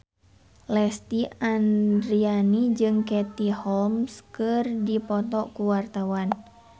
Lesti Andryani jeung Katie Holmes keur dipoto ku wartawan